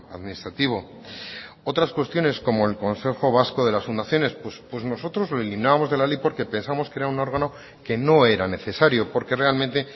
administrativo otras cuestiones como el consejo vasco de las fundaciones pues nosotros los eliminábamos de la ley porque pensamos que era un órgano que no era necesario porque realmente